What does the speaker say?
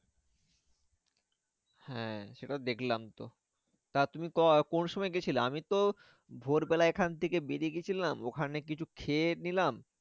হ্যাঁ সেটাও দেখলাম তো তা তুমি কোন সময় গিয়েছিলে আমি তো ভোর বেলা এখান থেকে বেরিয়ে গিয়েছিলাম। ওখানে কিছু খেয়েনিলাম